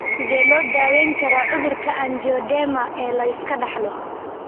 Sidee loo daweyn karaa cudurka anjioedema ee la iska dhaxlo?